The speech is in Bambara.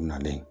Nalen